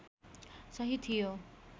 सही थियो